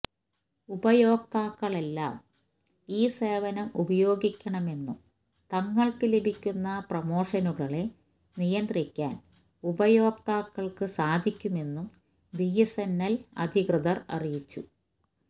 ഉപയോക്താക്കളെല്ലാം ഈ സേവനം ഉപയോഗിക്കണമെന്നും തങ്ങള്ക്ക് ലഭിക്കുന്ന പ്രമോഷനുകളെ നിയന്ത്രിക്കാന് ഉപയോക്താക്കള്ക്ക് സാധിക്കുമെന്നും ബിഎസ്എന്എല് അധികൃതര് അറിയിച്ചു